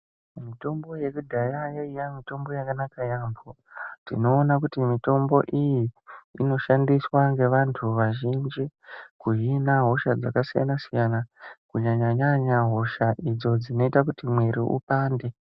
Mitombo yakudhaya yaiya mitombo yakanaka yaambo. Tinoona kuti mitombo iyi inoshandiswa ngevantu vazhinji kuhina hosha dzakasiyana-siyana. Kunyanya-nyanya hosha idzo dzinoita kuti mwiri upande.